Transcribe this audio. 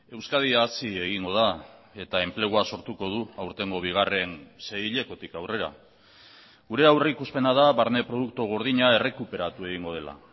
euskadi hazi egingo da eta enplegua sortuko du aurtengo bigarren seihilekotik aurrera gure aurrikuspena da barne produktu gordina errekuperatu egingo dela